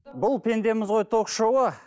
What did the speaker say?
бұл пендеміз ғой ток шоуы